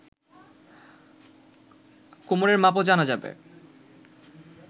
কোমরের মাপও জানা যাবে